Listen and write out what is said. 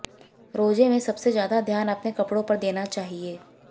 रोजे में सबसे ज्यादा ध्यान अपने कपड़ो पर देना चाहिए